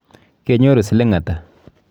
Kenyoru siling ata?